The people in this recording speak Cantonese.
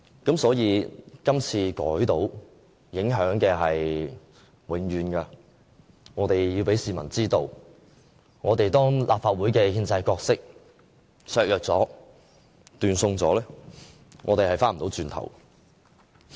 今次修改成功，影響是永遠的，我們要讓市民知道，當立法會的憲制角色被削弱和斷送後，是不能走回頭的。